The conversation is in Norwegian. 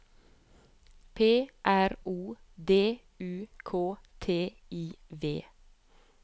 P R O D U K T I V